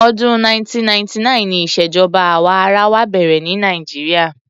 Ọdún 1999 ni ìṣèjọba àwa arawa bẹ̀rẹ̀ ní Nigeria.